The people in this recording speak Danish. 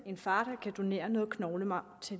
en far der kan donere noget knoglemarv til